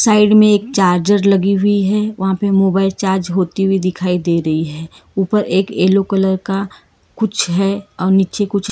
side में एक charger लगी हुई है वहां पर मोबाइल चार्ज होती हुई दिखाई दे रही है ऊपर एक येलो कलर का कुछ है और नीचे कुछ--